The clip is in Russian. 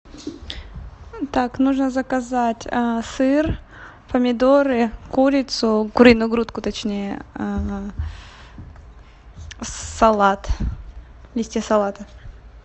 так нужно заказать сыр помидоры курицу куриную грудку точнее салат листья салата